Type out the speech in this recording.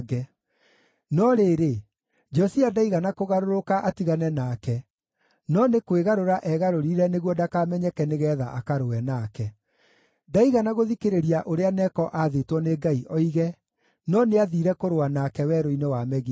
No rĩrĩ, Josia ndaigana kũgarũrũka atigane nake, no nĩ kwĩgarũra egarũrire nĩguo ndakamenyeke nĩgeetha akarũe nake. Ndaigana gũthikĩrĩria ũrĩa Neko aathĩtwo nĩ Ngai oige, no nĩathiire kũrũa nake werũ-inĩ wa Megido.